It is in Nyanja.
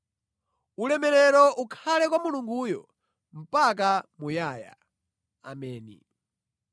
Ulemerero ukhale kwa Mulunguyo mpaka muyaya. Ameni.